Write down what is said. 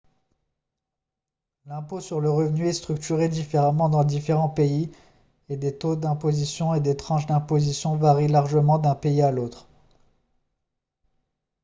l'impôt sur le revenu est structuré différemment dans différents pays et les taux d'imposition et les tranches d'imposition varient largement d'un pays à l'autre